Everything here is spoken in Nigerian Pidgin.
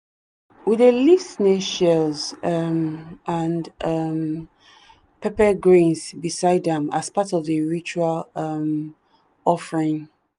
we dey leave snail shells um and um pepper grains beside am as part of the ritual um offering.